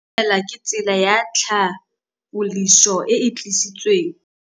Go itumela ke tsela ya tlhapolisô e e dirisitsweng ke Aforika Borwa ya Bosetšhaba.